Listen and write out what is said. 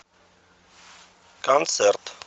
концерт